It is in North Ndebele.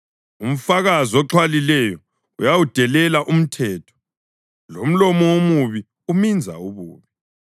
Umfakazi oxhwalileyo uyawudelela umthetho, lomlomo womubi uminza ububi.